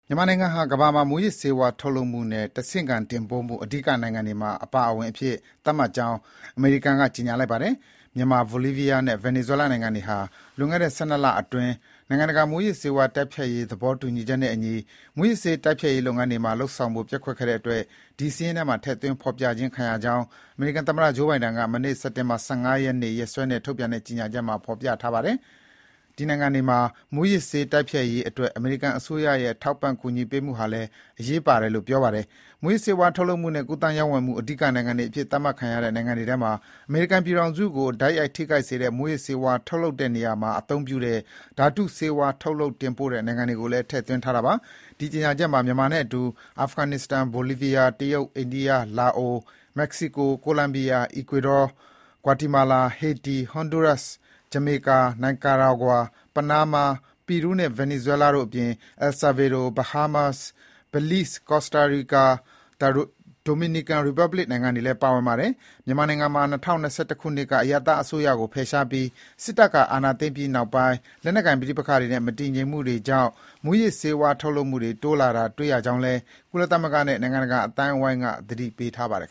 မြန်မာနိုင်ငံဟာ ကမ္ဘာမှာ မူးယစ်ဆေးဝါး ထုတ်လုပ်မှုနဲ့ တဆင့်ခံတင်ပို့မှု အဓိကနိုင်ငံတွေမှာ အပါအဝင်အဖြစ် သတ်မှတ်ကြောင်း အမေရိကန်က ကြေညာလိုက်ပါတယ်။ မြန်မာ၊ ဘိုလီးဗီးယားနဲ့ ဗင်နီဇွဲလားနိုင်ငံတွေဟာ လွန်ခဲ့တဲ့ ၁၂ လ အတွင်း နိုင်ငံတကာ မူးယစ်ဆေးဝါးတိုက်ဖျက်ရေး သဘောတူညီချက်နဲ့အညီ မူးယစ်ဆေးတိုက်ဖျက်ရေးလုပ်ငန်းတွေ လုပ်ဆောင်ဖို့ ပျက်ကွက်ခဲ့တဲ့အတွက် ဒီစာရင်းထဲမှာ ထည့်သွင်း ဖော်ပြရခြင်းဖြစ်ကြောင်းအမေရိကန်သမ္မတ Joe Biden က မနေ့ စက်တင်ဘာ ၁၅ ရက်နေ့ ရက်စွဲနဲ့ထုတ်ပြန်တဲ့ ကြေညာချက်မှာ ဖော်ပြထားပါတယ်။ ဒီနိုင်ငံတွေမှာ မူးယစ်ဆေးဝါးတိုက်ဖျက်ရေးအတွက် အမေရိကန်အစိုးရရဲ့ ထောက်ပံ့ ကူညီပေးမှုဟာလည်း အရေးပါတယ်လို့ ပြောပါတယ်။ မူးယစ်ဆေးဝါး ထုတ်လုပ်မှုနဲ့ ကူးသန်း ရောင်းဝယ်မှု အဓိကနိုင်ငံတွေအဖြစ် သတ်မှတ်ခံရတဲ့ နိုင်ငံတွေထဲမှာ၊ အမေရိကန်ပြည်ထောင်စုကို တိုက်ရိုက် ထိခိုက်စေတဲ့ မူးယစ်ဆေးဝါး ထုတ်လုပ်တဲ့နေရာမှာအသုံးပြုတဲ့ ဓါတုဆေးဝါးတွေ ထုတ်လုပ်တင်ပို့တဲ့ နိုင်ငံတွေကိုလည်း ထည့်သွင်းထားတာပါ။ ဒီကြေညာချက်မှာ မြန်မာနဲ့အတူ အာဖဂန်နစ္စတန်၊ ဘိုလီးဗီးယား ၊ တရုတ် ၊ အိန္ဒိယ ၊ လာအို ၊ မက္ကဆီကို ၊ ကိုလံဘီယာ၊ အီကွေဒါ၊ ဂွာတီမာလာ၊ ဟေတီ၊ ဟွန်ဒူရပ်စ်၊ ဂျာမကော၊ နီကွာရာဂွာ၊ ပနားမား၊ ပီရူးနဲ့ ဗင်နီဇွဲလား၊ အယ်ဆာဗေဒေါ၊ ဘာဟားမား၊ ဘေလိစ်ဇ်၊ ကော်စကာရီကာ၊ ဒိုမီနီကမ် ရီပတ်ဘလစ် နိုင်ငံတွေလည်း ပါဝင်ပါတယ်။ မြန်မာနိုင်ငံမှာ ၂၀၂၁ ခုနှစ်က အရပ်သားအစိုးရကို ဖယ်ရှားပြီး စစ်တပ်က အာဏာသိမ်းပြီးနောက်ပိုင်း လက်နက်ကိုင် ပဋိပက္ခတွေနဲ့ မတည်ငြိမ်မှုတွေကြောင့် မူးယစ်ဆေးဝါး ထုတ်လုပ်မှုတွေ တိုးလာတာ တွေ့ရကြောင်းလည်း ကုလသမဂ္ဂနဲ့ နိုင်ငံတကာ အသိုင်းအဝိုင်းကလည်း သတိပေးထားပါတယ်